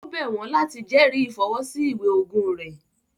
Ó bẹ̀ wọ́n láti jẹrìí ìfọwọ́ sí ìwé ogún rẹ̀